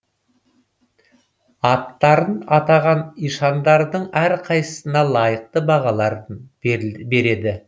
аттарын атаған ишандардың әрқайсысына лайықты бағаларын береді